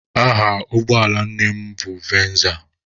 Aha ụgbọala nne m nụ venza.